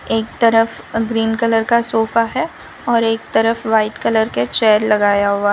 एक तरफ green colour का सोफा है और एक तरफ व्हाइट कलर के चेयर लगाया हुआ--